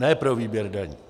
Ne pro výběr daní.